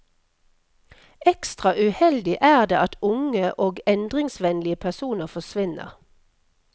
Ekstra uheldig er det at unge og endringsvennlige personer forsvinner.